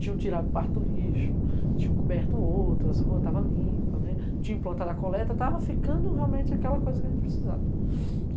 Tinha tirado parte do lixo, tinha coberto outras ruas, estava limpo, tinha implantado a coleta, estava ficando realmente aquela coisa que a gente precisava.